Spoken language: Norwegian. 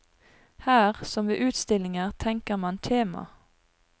Her, som ved utstillinger, tenker man tema.